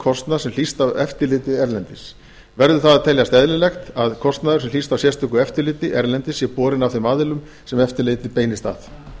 kostnað sem hlýst af eftirliti erlendis verður það að teljast eðlilegt að kostnaður sem hlýst af sérstöku eftirliti erlendis sé borinn af þeim aðilum sem eftirlitið beinist að